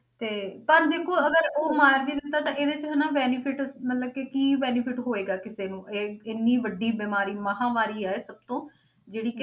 ਤੇ ਪਰ ਦੇਖੋ ਅਗਰ ਉਹ ਮਾਰ ਵੀ ਦਿੱਤਾ ਤਾਂ ਇਹਦੇ 'ਚ ਹਨਾ benefit ਮਤਲਬ ਕਿ ਕੀ benefit ਹੋਏਗਾ ਕਿਸੇ ਨੂੰ ਇਹ ਇੰਨੀ ਵੱਡੀ ਬਿਮਾਰੀ ਮਹਾਂਮਾਰੀ ਹੈ ਇਹ ਸਭ ਤੋਂ ਜਿਹੜੀ ਕਿ